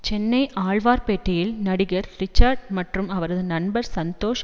சென்னை ஆழ்வார்ப்பேட்டையில் நடிகர் ரிச்சர்டு மற்றும் அவரது நண்பர் சந்தோஷ்